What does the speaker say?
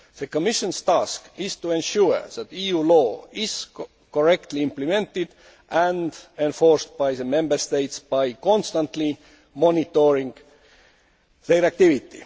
The Commission's task is to ensure that EU law is correctly implemented and enforced by the Member States by constantly monitoring their activity.